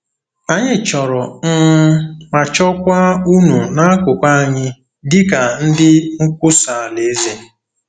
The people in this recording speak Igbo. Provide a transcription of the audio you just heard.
Anyị chọrọ um ma chọkwa unu n’akụkụ anyị dị ka ndị nkwusa Alaeze.